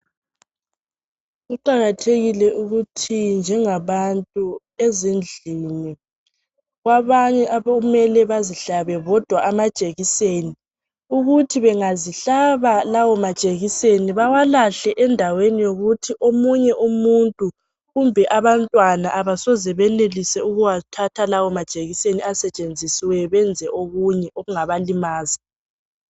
Kuqakathekile ukuthi njengabantu ezindlini kwabanye okumele bazihlabe bodwa amajekiseni ukuthi bengazihlaba lawa majekiseni bewafake endaweni ukuthi ominye umuntu kumbe antwana abasoke benelise ukuwathatha lawa majekiseni benze okunye okungabalimaza.